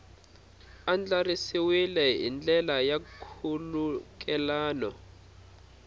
andlariwile hi ndlela ya nkhulukelano